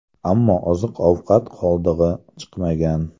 Ammo oziq-ovqat qoldig‘i chiqmagan.